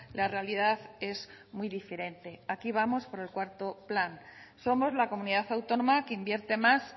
la realidad es muy diferente aquí vamos por el cuarto plan somos la comunidad autónoma que invierte más